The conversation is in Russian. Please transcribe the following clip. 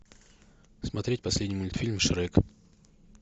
смотреть последний мультфильм шрек